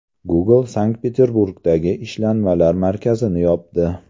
Google Sankt-Peterburgdagi ishlanmalar markazini yopdi.